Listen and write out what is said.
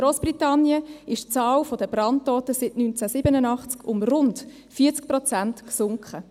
In Grossbritannien ist die Zahl der Brandtoten seit 1987 um rund 40 Prozent gesunken.